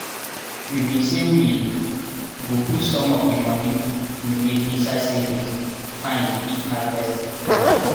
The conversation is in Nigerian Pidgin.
we bin say we go put some of di money we make inside savings find if harvest finish.